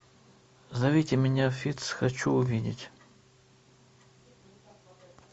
зовите меня фитц хочу увидеть